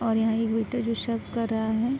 और यहाँ एक वेटर जो सर्व कर रहा है।